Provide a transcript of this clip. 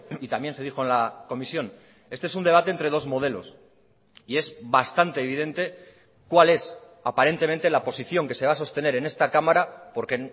y también se dijo en la comisión este es un debate entre dos modelos y es bastante evidente cuál es aparentemente la posición que se va a sostener en esta cámara porque